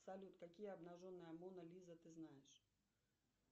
салют какие обнаженные мона лиза ты знаешь